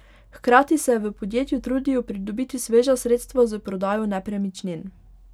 Hkrati se v podjetju trudijo pridobiti sveža sredstva s prodajo nepremičnin.